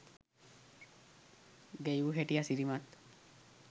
ගැයූ හැටි අසිරිමත්